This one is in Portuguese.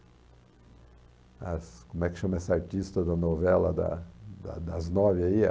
As como é que chama essa artista da novela da da das nove aí? A...